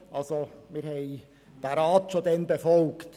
Wir haben diesen Rat also bereits damals befolgt.